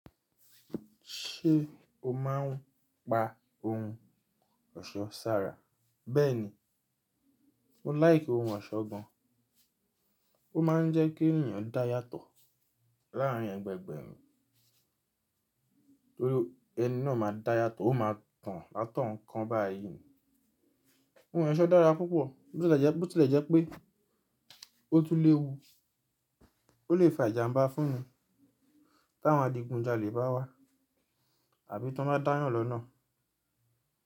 Ṣé o máa ń pa ohun ọ̀ṣọ́ sára? Bẹ́ẹ̀ni, mo láìki ohun ọ̀ṣọ́ gan. Ó máa ń jẹ́ kí ènìyàn dá yàtọ̀ láàrin ẹgbẹgbẹ́, torí ẹni náà máa dá yàtọ̀, ó máa tàn látọ̀ọ́n kan bá à yí. Ohun ọ̀ṣọ́ dára púpọ̀, bó tilẹ̀ jẹ́ pé ó tún léwu, ó lè fa ìjàmbá fúnni táwọn adigunjalè bá wá àbí tó bá dáyàn lọ́nà.